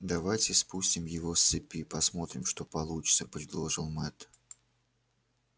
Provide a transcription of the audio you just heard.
давайте спустим его с цепи посмотрим что получится предложил мэтт